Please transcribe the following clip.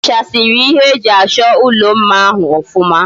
Ihichasiri ihe eji acho ulo mma ahu ofuma?